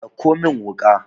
dauko min wuka!